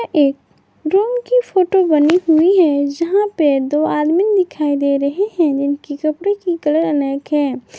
एक रूम की फोटो बनी हुई है यहां पे दो आदमी दिखाई दे रहे हैं जिनकी कपड़े की कलर अनेक हैं।